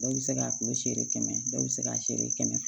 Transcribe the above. Dɔw bɛ se k'a kulo seri kɛmɛ dɔw bɛ se k'a seri kɛmɛ ma